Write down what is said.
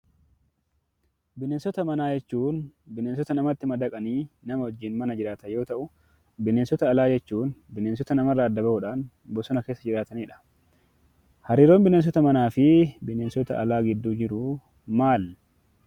Bineensota manaa jechuun bineensota namatti madaqanii namaa wajjin mana jiraatan yoo ta'uu bineensota alaa jechuun bineensota namarraa adda ba'uudhaan bosona keessa jiraatanidha. Hariiroon bineensota manaa fi bineensota alaa gidduu jiru maali?